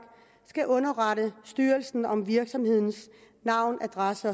skal underrette styrelsen om virksomhedens navn adresse